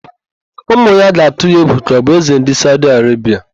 Ụmụ ya ga-atụ ya egwu ka ọ bụ Ézē ndị Saudi Arebia.